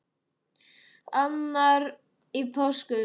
Annar í páskum.